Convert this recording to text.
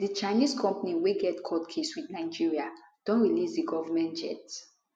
di chinese company wey get court case wit nigeria don release di goment jet